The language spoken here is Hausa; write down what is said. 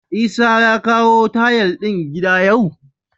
Isah ya kawo tayal din gidan yau?